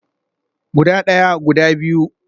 Guda daya, guda biyu